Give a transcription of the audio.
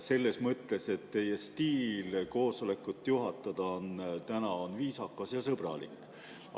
Selles mõttes, et teie stiil koosolekut juhatada on täna viisakas ja sõbralik.